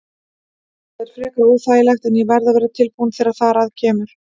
Það er frekar óþægilegt en ég verð að vera tilbúinn þegar þar að kemur.